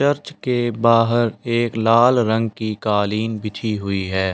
Church के बाहर एक लाल रंग की कालीन बिछी हुई है।